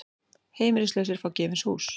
Heimilislausir fá gefins hús